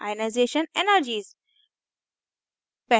ionization energies